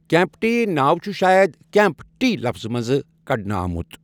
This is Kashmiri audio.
کیٚمپٹی ناو چھُ شاید 'کیٚمپ ٹی' لفظہٕ منٛزٕ کڑنہٕ آمُت.